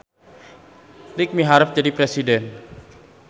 Iik miharep jadi presiden